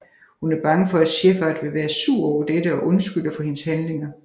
Hun er bange for at Shepard vil være sur over dette og undskylder for hendes handlinger